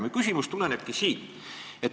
Mu küsimus tulenebki siit.